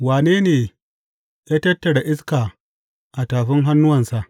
Wane ne ya tattara iska a tafin hannuwansa?